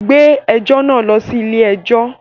Gbé ẹjọ́ náà lọ ilé-ẹjọ́!